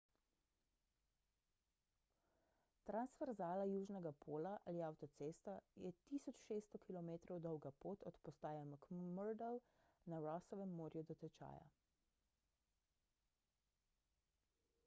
transverzala južnega pola ali avtocesta je 1600 km dolga pot od postaje mcmurdo na rossovem morju do tečaja